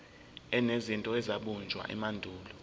enezinto ezabunjwa emandulo